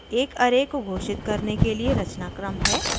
एक array को घाषित करने के लिए रचनाक्रम है